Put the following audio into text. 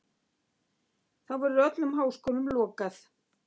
Þá verður öllum háskólum lokað.